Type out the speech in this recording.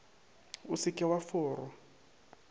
o se ke wa forwa